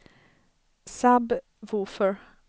sub-woofer